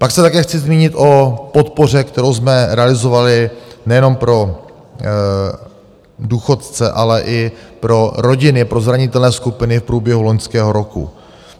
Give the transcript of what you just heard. Pak se také chci zmínit o podpoře, kterou jsme realizovali nejenom pro důchodce, ale i pro rodiny, pro zranitelné skupiny, v průběhu loňského roku.